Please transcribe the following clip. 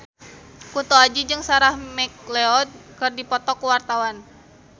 Kunto Aji jeung Sarah McLeod keur dipoto ku wartawan